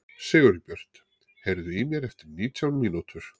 Sigurbjört, heyrðu í mér eftir nítján mínútur.